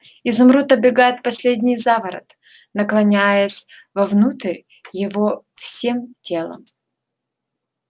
изумруд обегает последний заворот наклоняясь вовнутрь его всем телом